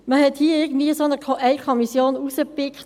Man hat hier bei diesem Abbaupaket eine Kommission herausgepickt.